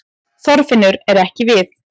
Þorfinnur er ekki við